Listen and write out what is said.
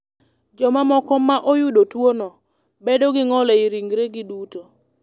Jomamoko ma oyudo tuwono bedo gi ng’ol e ringregi duto.